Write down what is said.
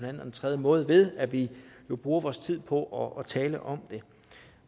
eller den tredje måde ved at vi bruger vores tid på at tale om det